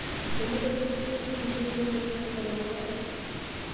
Enotoki lkesii kulie le moyian e koronavirus